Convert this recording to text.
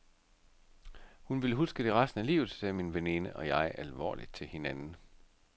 Hun vil huske det resten af livet, sagde min veninde og jeg alvorligt til hinanden.